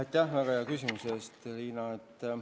Aitäh väga hea küsimuse eest, Riina!